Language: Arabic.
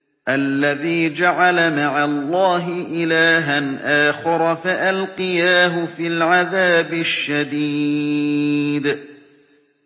الَّذِي جَعَلَ مَعَ اللَّهِ إِلَٰهًا آخَرَ فَأَلْقِيَاهُ فِي الْعَذَابِ الشَّدِيدِ